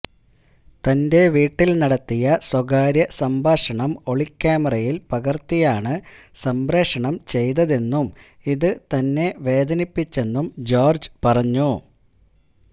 തന്റെ വീട്ടിൽ നടത്തിയ സ്വകാര്യ സംഭാഷണം ഒളിക്യാമറയിൽ പകർത്തിയാണു സംപ്രേഷണം ചെയ്തതെന്നും ഇതു തന്നെ വേദനിപ്പിച്ചെന്നും ജോർജ് പറഞ്ഞു